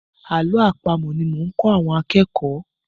Àlọ́ àpamọ̀ ni mò ń kọ́ àwọn akẹ́kọ̀ọ́.